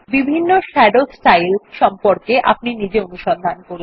বিভিন্ন shadow styles সম্পর্কে আপনি নিজে অনুসন্ধান করুন